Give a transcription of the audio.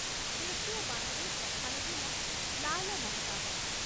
ଦେଶୀୟ ବାଣରେ ପ୍ରଧାନ ଥିଲା ଲାଲ ମହତାବ